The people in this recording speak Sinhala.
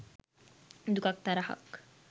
දුකක් තරහක්